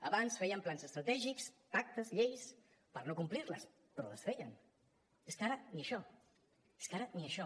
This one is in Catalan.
abans feien plans estratègics pactes lleis per a no complir los però els feien és que ara ni això és que ara ni això